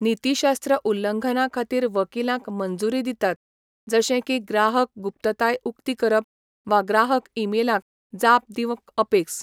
नीतीशास्त्र उल्लंघना खातीर वकीलांक मंजूरी दितात, जशे की ग्राहक गुप्तताय उक्ती करप वा ग्राहक ईमेलांक जाप दिवंक अपेस.